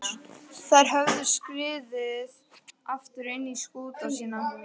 Þær höfðu skriðið aftur inn í skúta sína.